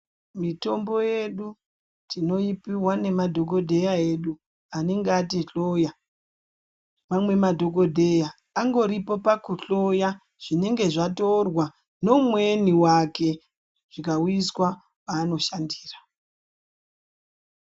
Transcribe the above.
Mitombo yedu tinoipihwa nemadhokodheya edu anenge atihloya. Mamwe madhokodheya angoripo pakuhloya zvinenge zvatorwa neumweni wake zvikauyiswa paanoshandira.